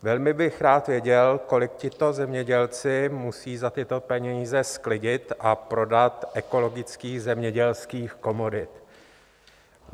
Velmi bych rád věděl, kolik tito zemědělci musí za tyto peníze sklidit a prodat ekologických zemědělských komodit.